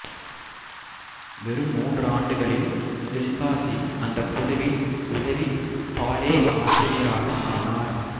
வெறும் மூன்று ஆண்டுகளில் தில்பாசி அந்தக் குழுவின் உதவி பாலே ஆசிரியராக ஆனார்